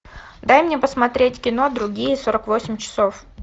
дай мне посмотреть кино другие сорок восемь часов